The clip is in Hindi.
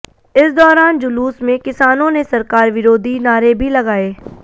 इस दौरान जुलूस में किसानों ने सरकार विरोधी नारे भी लगाए